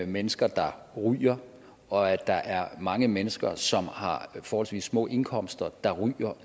mennesker der ryger og at der er mange mennesker som har forholdsvis små indkomster der ryger og